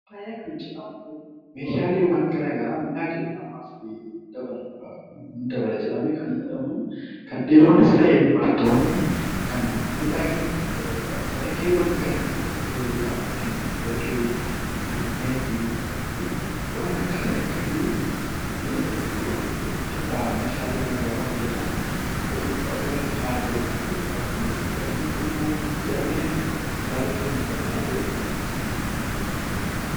Faayaa kan jedhamu, Meeshaalee garaagaraa miidhaginaaf kan fayyadu, miidhagina ni dabala jedhamee kan yaadamu kan dhiironnis ta'ee dubartoonni kan miidhagina ofii dabaliidhaaf kan calaqqeewwan ofitti dabaluudhaan fakkeenyaaf warqee, meetii fi waan akkasii akkasii Meeshaalee garaagaraa hojjetame ofirratti kaa'amu yookaan uffachuu kanneen Kun maal jedhee yaadamaa bareedina dabalaa jedhama.